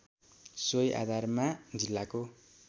सोही आधारमा जिल्लाको